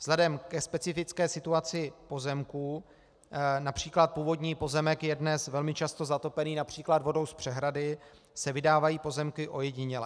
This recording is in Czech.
Vzhledem ke specifické situaci pozemků, například původní pozemek je dnes velmi často zatopený například vodou z přehrady, se vydávají pozemky ojediněle.